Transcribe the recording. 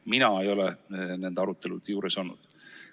Mina ei ole nende arutelude juures olnud.